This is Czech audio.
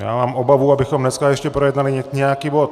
Já mám obavu, abychom dnes ještě projednali nějaký bod.